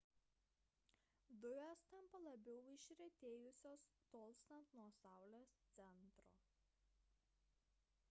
dujos tampa labiau išretėjusios tolstant nuo saulės centro